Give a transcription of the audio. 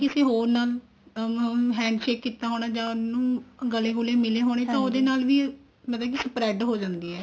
ਕਿਸੀ ਹੋਰ ਨਾਲ ਅਮ handshake ਕੀਤਾ ਜਾਂ ਉਹਨੂੰ ਗਲੇ ਗਲੇ ਮਿਲੇ ਹੋਣੇ ਤਾਂ ਉਹਦੇ ਨਾਲ ਵੀ ਮਤਲਬ ਕੇ spread ਹੋ ਜਾਂਦੀ ਆ ਇਹ